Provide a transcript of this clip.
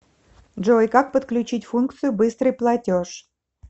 джой как подключить функцию быстрый платеж